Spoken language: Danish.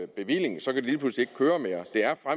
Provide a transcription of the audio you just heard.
bevilling så de lige pludselig ikke køre mere